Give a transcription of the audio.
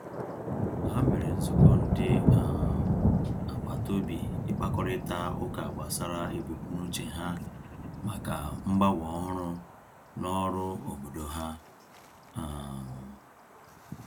Ha mere nzukọ ndị um agbataobi ịkpakọrịta ụka gbasara ebumnuche ha maka mgbanwe ọhụrụ n'ọrụ obodo ha. um